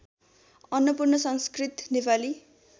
Annapurna Sanskrit Nepali